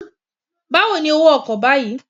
Báwo ni owó ọkọ̀ báyìí?